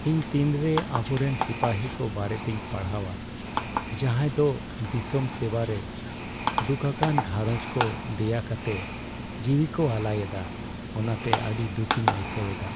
ᱤᱧ ᱛᱤᱱᱨᱮ ᱟᱵᱚᱨᱮᱱ ᱥᱤᱯᱟᱹᱦᱤ ᱠᱚ ᱵᱟᱨᱮᱛᱤᱧ ᱯᱟᱲᱦᱟᱣᱟ ᱡᱟᱦᱟᱸᱭ ᱫᱚ ᱫᱤᱥᱚᱢ ᱥᱮᱵᱟᱨᱮ ᱫᱩᱠᱷᱟᱠᱟᱱ ᱜᱷᱟᱨᱚᱸᱡᱽ ᱠᱚ ᱫᱮᱭᱟ ᱠᱟᱛᱮᱫ ᱡᱤᱣᱤᱠᱚ ᱟᱞᱟᱭᱮᱫᱟ ᱚᱱᱟᱛᱮ ᱟᱹᱰᱤ ᱫᱩᱠᱤᱧ ᱟᱹᱭᱠᱟᱹᱣ ᱮᱫᱟ ᱾